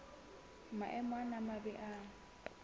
maemo ana a mabe a